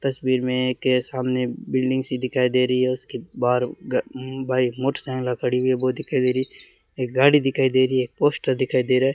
तस्वीर में एक सामने बिल्डिंग सी दिखाई दे रही है उसके बाहर ग उम्म बाइक मोटरसाइकिल खड़ी हुई है बहुत ही एक गाड़ी दिखाई दे रही है एक पोस्टर दिखाई दे रहा है।